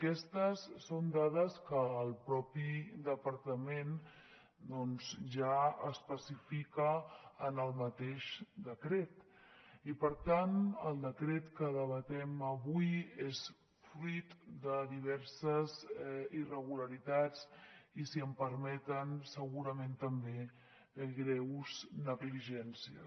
aquestes són dades que el mateix departament doncs ja especifica en el mateix decret i per tant el decret que debatem avui és fruit de diverses irregularitats i si em permeten segurament també de greus negligències